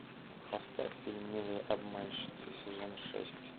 поставь фильм милые обманщицы сезон шесть